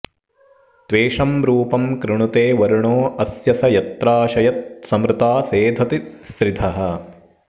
त्वेषं रूपं कृणुते वर्णो अस्य स यत्राशयत्समृता सेधति स्रिधः